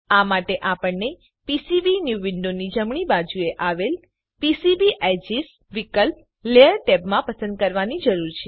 આ માટે આપણને પીસીબીન્યૂ વિન્ડોની જમણી બાજુએ આવેલ પીસીબી એડજેસ વિકલ્પ લેયર ટેબમાંથી પસંદ કરવાની જરૂર છે